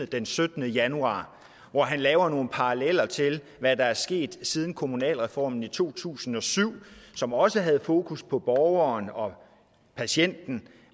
den syttende januar hvor han laver nogle paralleller til hvad der er sket siden kommunalreformen i to tusind og syv som også havde fokus på borgeren og patienten